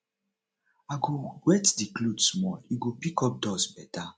i go wet di cloth small e go pick up dust beta